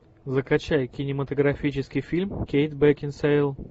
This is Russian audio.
закачай кинематографический фильм кейт бекинсейл